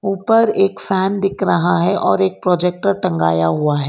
ऊपर एक फैन दिख रहा है और एक प्रोजेक्टर टंगाया हुआ है।